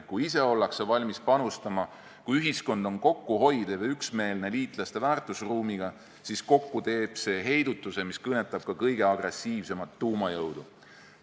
Kui ise ollakse valmis panustama ning kui ühiskond on kokkuhoidev ja ühel meelel liitlaste väärtusruumiga, siis kokku annab see heidutuse, mis kõnetab ka kõige agressiivsemat tuumajõudu.